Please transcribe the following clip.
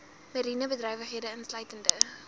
mariene bedrywighede insluitende